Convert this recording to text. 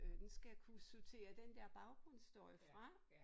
Øh den skal kunne sortere den der baggrundsstøj fra